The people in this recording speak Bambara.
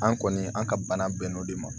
An kɔni an ka bana bɛnn'o de ma